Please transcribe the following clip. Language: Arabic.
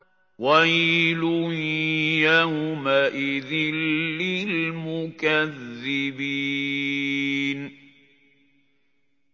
وَيْلٌ يَوْمَئِذٍ لِّلْمُكَذِّبِينَ